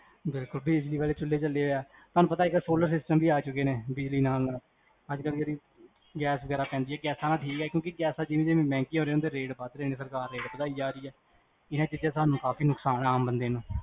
ਦੇਖੋ, ਬਿਜਲੀ ਵਾਲੇ ਚੁਲ੍ਹੇ ਚਲੇ ਆ ਤੁਹਾਨੂ ਪਤਾ ਇਕ solar system ਵੀ ਆ ਚੁਕੇ ਨੇ, ਬਿਜਲੀ ਨਾਲ ਗੈਸ ਜੇਹੜੀ ਪੈਂਦੀ ਆ, ਕਿਓਂਕਿ ਗੈਸਾਂ ਜਿਵੇਂ ਜਿਵੇਂ ਮੇਹ੍ਨ੍ਗੀਆਂ ਹੋਰਿਆ ਨੇ, ਓਵੇ ਓਵੇ ਰੇਟ ਬਦ ਰੇ ਨੇ, ਸਰਕਾਰ ਰੇਟ ਬਦਾਈ ਜਾ ਰੀ ਆ ਇਸੇ ਕਰ ਕ ਸਾਨੂ ਕਾਫੀ ਨੁਕਸਾਨ ਆ, ਆਮ ਬੰਦੇਆਂ ਨੂੰ